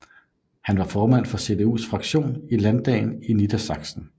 Han var formand for CDUs fraktion i landdagen i Niedersachsen